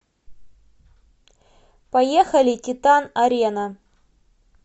поехали титан арена